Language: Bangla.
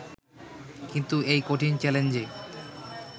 কিন্তু এই কঠিন চ্যালেঞ্জে